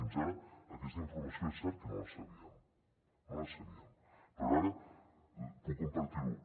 fins ara aquesta informació és cert que no la sabíem no la sabíem però ara puc compartir ho